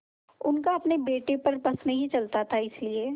उनका अपने बेटे पर बस नहीं चलता था इसीलिए